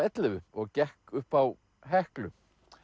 ellefu og gekk upp á Heklu